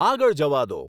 આગળ જવા દો